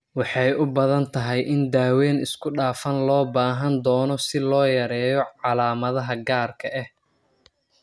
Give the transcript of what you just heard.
Waxay u badan tahay in daaweyn isku dhafan loo baahan doono si loo yareeyo calaamadaha gaarka ah.